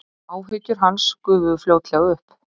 Áhyggjur hans gufuðu fljótlega upp.